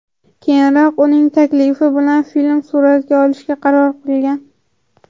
Keyinroq uning taklifi bilan film suratga olishga qaror qilgan.